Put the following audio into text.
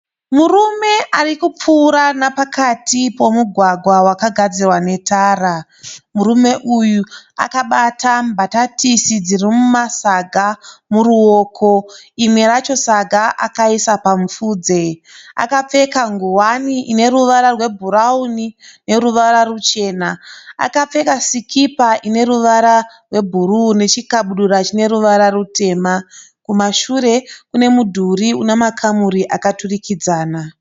Murume arikupfuura nepakati pemugwagwa wakagadzirwa netara. Murume uyu akabata mbatatisi dzirikumasaga muruoko. Rimwe racho saga akaisa pamufudze. Akapfeka nguwani ineruvara rwebhurauni neruvara ruchena. Akapfeka sikipa ineruvara rwebhuruwu nechikabudura chineruvara rutema. Kumashure kune mudhuri yakadurikidzana.